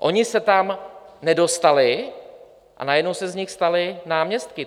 Oni se tam nedostali a najednou se z nich stali náměstci.